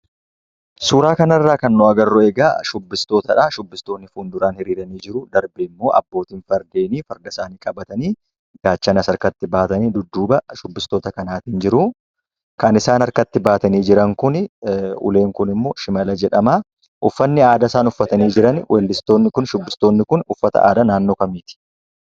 Suuraa kanarraa kan nu agarru egaa shubbistootadhaa. Shubbistoonni kun duraan hiriiranii jiruu. Darbeemmoo abbootiin fardeenii farda isaanii qabatanii gaachanas harkatti baatanii dudduuba shubbistoota kanaatiin jiru. Kan isaan harkatti baatanii jiran kuni uleen kunimmoo shimala jedhama. uffanni aadaa isaan uffatanii jiran weellistoonni kun, shubbistoonni kun uffata aadaa naannoo kamiiti?